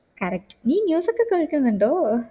correct നീ news ഒക്കെ കേൾക്കുന്നുണ്ടോ